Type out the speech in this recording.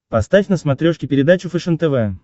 поставь на смотрешке передачу фэшен тв